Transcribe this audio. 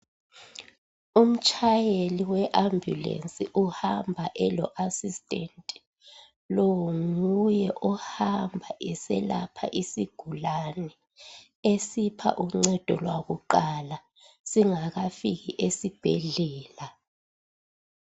Umtshayeli we ambulensi uhamba elo"assistant".Lo nguye ohamba eselapha isigulane esipha uncedo lwakuqala singakafiki esibhedlela.